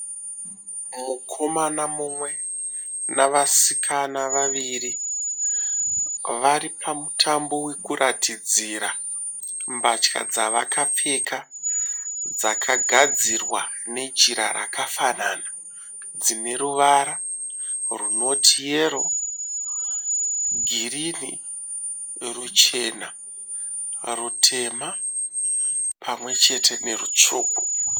Mukomana mumwe navasikana vaviviri vari pamutambo wekuratidzira mbatya dzavakapfeka dzakagadzirwa nejira rakafanana, dzine ruvara runoti yero, girini, ruchena, rutema pamwechete nerutsvuku.